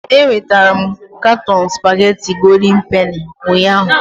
Enwetara m katọn spagéti Gòldin Penì ụnyahụ